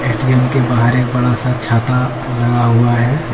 ATM के बाहर एक बड़ा सा छाता लगा हुआ है।